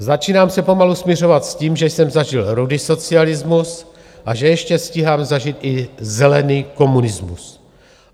Začínám se pomalu smiřovat s tím, že jsem zažil rudý socialismus a že ještě stíhám zažít i zelený komunismus.